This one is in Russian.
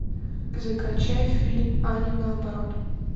закачай фильм аня наоборот